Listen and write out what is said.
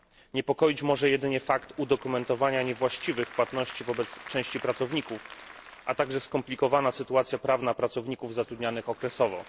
Niepokoić może jedynie fakt udokumentowania niewłaściwych płatności wobec części pracowników, a także skomplikowana sytuacja prawna pracowników zatrudnianych okresowo.